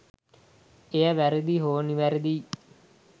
එය වැරැදි හෝ නිවැරදි යි